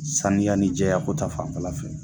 Saniya ni jɛya ko ta fanfɛla fɛ